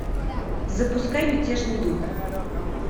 запускай мятежный дух